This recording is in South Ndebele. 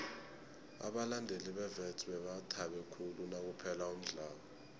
abalandeli bewits bebathabe khulu nakuphela umdlalo